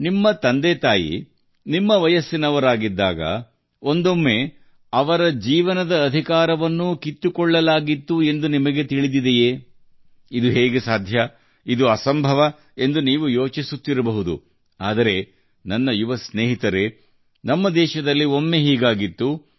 ನಿಮ್ಮ ಹೆತ್ತವರು ನಿಮ್ಮ ವಯಸ್ಸಿನವರಾಗಿದ್ದಾಗ ಒಮ್ಮೆ ಅವರ ಬದುಕುವ ಹಕ್ಕನ್ನು ಸಹ ಅವರಿಂದ ಕಸಿದುಕೊಳ್ಳಲಾಯಿತು ಎಂದು ನಿಮಗೆ ತಿಳಿದಿದೆಯೇ ಇದು ಹೇಗೆ ಸಂಭವಿಸಿತು ಎಂದು ನೀವು ಯೋಚಿಸುತ್ತಿರಬಹುದು ಇದು ಅಸಾಧ್ಯ ಆದರೆ ನನ್ನ ಯುವ ಸ್ನೇಹಿತರೇ ಇದು ನಮ್ಮ ದೇಶದಲ್ಲಿ ಒಮ್ಮೆ ಸಂಭವಿಸಿದೆ